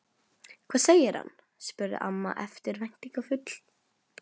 Hvað segir hann? spurði amma eftirvæntingarfull.